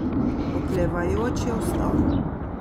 Oklevajoč je vstal.